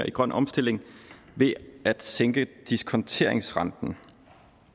i grøn omstilling ved at sænke diskonteringsrenten